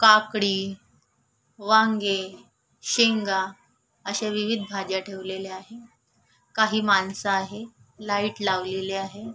काकडी वांगे शेंगा अशा विविध भाज्या ठेवलेल्या आहे काही माणस आहे लाईट लावलेली आहे.